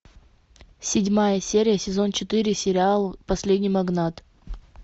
седьмая серия сезон четыре сериал последний магнат